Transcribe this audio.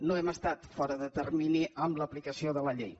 no hem estat fora de ter·mini en l’aplicació de la llei